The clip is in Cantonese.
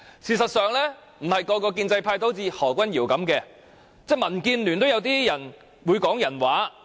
事實上，並非所有建制派人士都像何君堯議員那樣，民建聯也有人會說人話的。